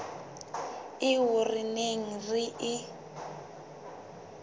eo re neng re e